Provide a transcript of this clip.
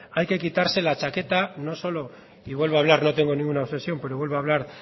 hay que quitarse la chaqueta no solo y vuelvo a hablar no tengo ninguna obsesión pero vuelvo a hablar